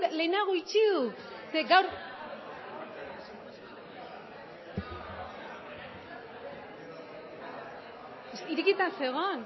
lehenago itxi dut irekita zegoen